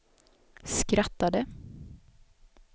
skrattade